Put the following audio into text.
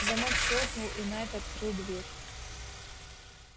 замок щёлкнул и найд открыл дверь